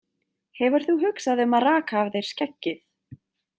Hefur þú hugsað um að raka af þér skeggið?